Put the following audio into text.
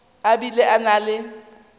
a bile a na le